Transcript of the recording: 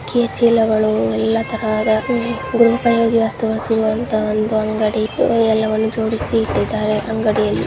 ಅಕ್ಕಿ ಚೀಲಗಳು ಎಲ್ಲ ತರದ ದುರಪಯೋಗಿ ವಸ್ತುಗಳು ಅಂತೂ ಒಂದು ಅಂಗಡಿ ಎಲ್ಲವನ್ನು ಜೋಡಿಸಿ ಇಟ್ಟಿದ್ದಾರೆ ಅಂಗಡಿಯಲ್ಲಿ .